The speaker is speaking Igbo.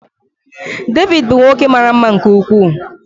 David bụ nwoke mara mma nke ukwuu.